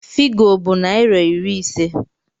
Figo bụ naịra iri ise